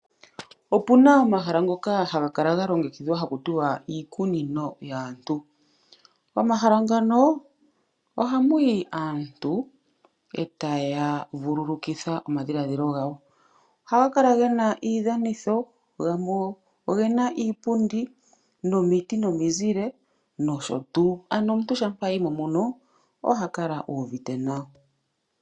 Opu na omahala ngoka haga kala ga longekit\dhwa taku ti wa iikunino yaantu. Momahala ngano ohamu yi aantu e taya vululukitha omadhiladhilo gawo. Ohaga kala ge na iidhanitho, gamwe oge na iipundi, omiti, omizile nosho tuu. Omuntu shampa a yi mo mono oha kala uuvite nawa.